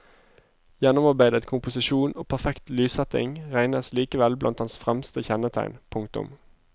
Gjennomarbeidetkomposisjon og perfekt lyssetting regnes likevel blant hans fremste kjennetegn. punktum